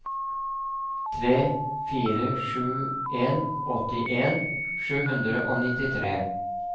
tre fire sju en åttien sju hundre og nittitre